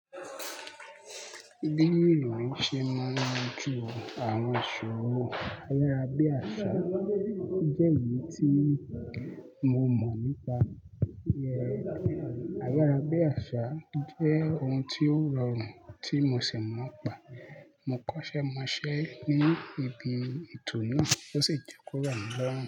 Bí ènìyàn ṣe máa ń tún àwọn aṣọ wò. Ní abẹ́ àṣà jẹ́ èyí tí mo mọ̀ nípa rẹ̀. Abẹ́rẹ́ àṣà jẹ́ ohun tí ó rọrùn tí mo ṣẹ̀ mọ́ ọ̀ pá. Mo kọ́ṣẹ́ mọ̀ ọ́ ṣẹ́ ní ibi ètò náà, ó sì jókòó rọ̀ mi l'ọ́rùn.